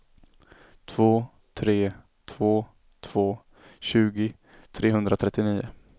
två tre två två tjugo trehundratrettionio